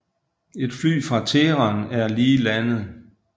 Et fly fra Teheran er lige landet